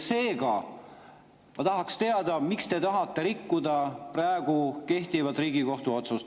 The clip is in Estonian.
Seega ma tahaksin teada, miks te tahate rikkuda praegu kehtivat Riigikohtu otsust.